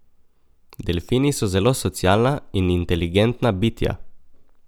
Delfini so zelo socialna in inteligentna bitja.